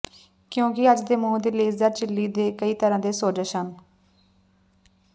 ਕਿਉਂਕਿ ਅੱਜ ਦੇ ਮੂੰਹ ਦੇ ਲੇਸਦਾਰ ਝਿੱਲੀ ਦੇ ਕਈ ਤਰ੍ਹਾਂ ਦੇ ਸੋਜਸ਼ ਹਨ